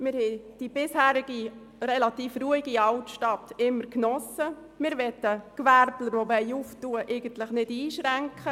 Wir geniessen die bisher relativ ruhige Altstadt, wollen die Gewerbetreibenden aber eigentlich nicht einschränken.